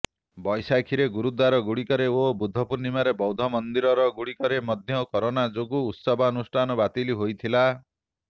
ବୈଶାଖିରେ ଗୁରୁଦ୍ୱାର ଗୁଡିକରେ ଓ ବୁଦ୍ଧପୂର୍ଣ୍ଣିମାରେ ବୌଦ୍ଧ ମନ୍ଦିର ଗୁଡିକରେ ମଧ୍ୟ କରୋନା ଯୋଗୁଁ ଉତ୍ସବାନୁଷ୍ଠାନ ବାତିଲ ହୋଇଥିଲା